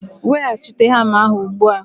Weghachite hamma ahụ ugbu a!